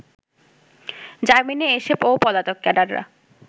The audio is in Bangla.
জামিনে এসে ও পলাতক ক্যাডাররা